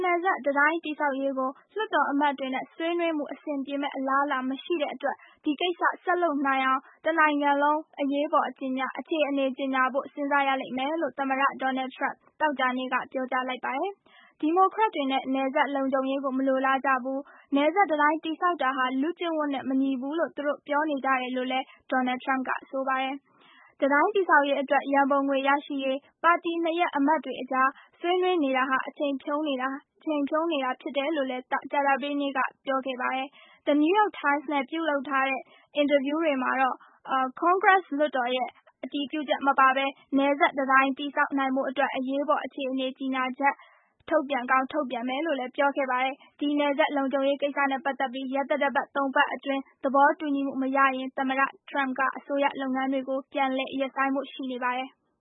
နယ်စပ် တံတိုင်းတည်ဆောက်ရေးကို လွှတ်တော်အမတ်တွေနဲ့ဆွေးနွေးမှု အဆင် ပြေမယ့် အလားလာမရှိတဲ့အတွက် ဒီကိစ္စဆက်လုပ်နိုင်အောင် တနိုင်ငံလုံး အရေးပေါ် အခြေအနေ ကြေညာဖို့ စဉ်းစားရလိမ့်မယ်လို့ သမ္မတ Donal Trump သောကြာနေ့က ပြောကြားလိုက်ပါတယ်။ ဒီမိုကရက်တွေဟာ နယ်စပ်လုံခြုံရေးကို မလိုလားကြဘူး၊ နယ်စပ်တံတိုင်းတည်ဆောက် တာဟာ လူကျင့်ဝတ်နဲ့ မညီဘူးလို့ သူတို့ပြောနေကြတယ်လို့လည်း Donal Trump ကဆိုပါတယ်။ တံတိုင်းတည်ဆောက်ရေးအတွက် ရန်ပုံငွေရရှိရေး ပါတီနှစ်ရပ်အမတ်တွေအကြား ဆွေးနွေး နေတာဟာ အချိန် ဖြုန်းနေတာဟာ ဖြစ်တယ်လို့လည်း ကြာသပတေးနေ့ တုန်းက ပြောခဲ့ပါတယ်။ The New York Times နဲ့ ပြုလုပ်တဲ့ အင်တာဗျူးမှာလည်း Congress လွှတ်တော်ရဲ့ အတည်ပြုချက်မပါဘဲ နယ်စပ်တံတိုင်းတည်ဆောက်နိုင်ဖို့အတွက် အရေးပေါ်အခြေအနေ ကြေညာချက် ထုတ်ပြန်ကောင်း ထုတ်ပြန်မယ်လို့လည်း ပြောခဲ့ပါတယ်။ ဒီ နယ်စပ်လုံခြုံရေးကိစ္စနဲ့ ပတ်သက်ပြီး ရက်သတ္တပတ် ၃ ပတ်အတွင်း သဘောတူညီမှုမရရင် သမ္မတ Trump က အစိုးရလုပ်ငန်းတွေကို ပြန်လည်ရပ်ဆိုင်းဖို့ ရှိနေပါတယ်။